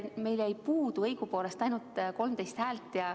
Meil jäi puudu õigupoolest ainult 13 häält.